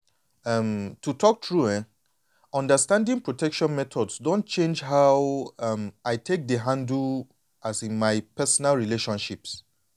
um to talk true eh understanding protection methods don change how um i take dey handle um my personal relationships.